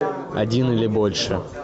один или больше